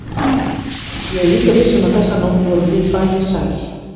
Ég er líka viss um að þessa nótt vorum við bæði sæl.